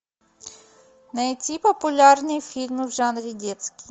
найти популярные фильмы в жанре детский